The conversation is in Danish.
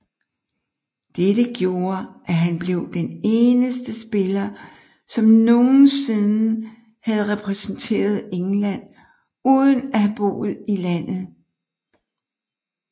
Dette gjorde at han blev den eneste spiller som nogensinde havde repræsenteret England uden at have boet i landet